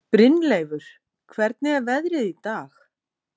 Brynleifur, hvernig er veðrið í dag?